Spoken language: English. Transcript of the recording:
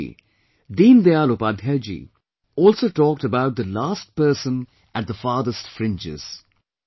Like Gandhiji, Deen Dayal Upadhyayji also talked about the last person at the farthest fringes